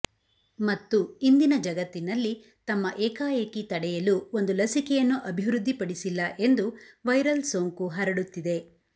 ಮತ್ತು ಇಂದಿನ ಜಗತ್ತಿನಲ್ಲಿ ತಮ್ಮ ಏಕಾಏಕಿ ತಡೆಯಲು ಒಂದು ಲಸಿಕೆಯನ್ನು ಅಭಿವೃದ್ಧಿಪಡಿಸಿಲ್ಲ ಎಂದು ವೈರಲ್ ಸೋಂಕು ಹರಡುತ್ತಿದೆ